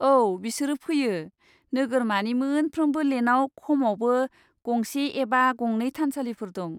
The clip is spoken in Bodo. औ, बिसोरो फैयो। नोगोरमानि मोनफ्रोमबो लेनआव खमावबो गंसे एबा गंनै थानसालिफोर दं।